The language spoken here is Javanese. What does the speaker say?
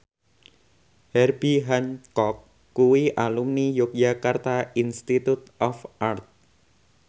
Herbie Hancock kuwi alumni Yogyakarta Institute of Art